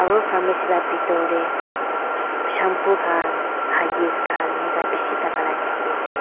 aru pharmacy lah bithor teh shampoo khan Huggies khan enka bishi thaka lah dikhi ase.